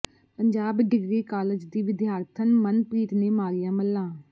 Punjab degree college ਦੀ ਵਿਦਿਆਰਥਣ ਮਨਪ੍ਰੀਤ ਨੇ ਮਾਰੀਆਂ ਮੱਲ੍ਹਾਂ